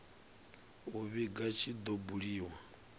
u vhiga tshi do buliwa